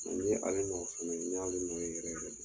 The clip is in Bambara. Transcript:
Ɛ i y'ale nɔ fana ye n y'ale nɔ ye yɛrɛ yɛrɛ de